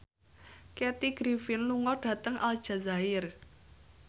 Kathy Griffin lunga dhateng Aljazair